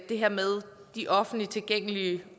det her med de offentligt tilgængelige